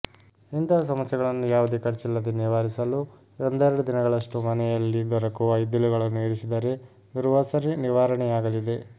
ಇಂತಹ ಸಮಸ್ಯೆಗಳನ್ನು ಯಾವುದೇ ಖರ್ಚಿಲ್ಲದೆ ನಿವಾರಿಸಲು ಒಂದೆರಡು ದಿನಗಳಷ್ಟು ಮನೆಯಲ್ಲಿ ದೊರಕುವ ಇದ್ದಿಲುಗಳನ್ನು ಇರಿಸಿದರೆ ದುರ್ವಾಸನೆ ನಿವರಾಣೆಯಾಗಲಿದೆ